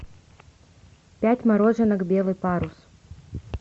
пять мороженок белый парус